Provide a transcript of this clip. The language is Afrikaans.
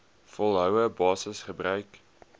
volgehoue basis gebruik